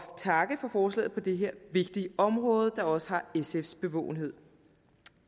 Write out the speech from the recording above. takke for forslaget på det her vigtige område der også har sfs bevågenhed